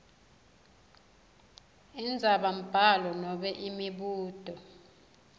indzabambhalo nobe imibuto